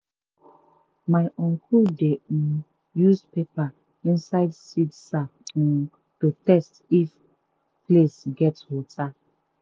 my uncle dey um use paper inside seed sack um to test if place gets water.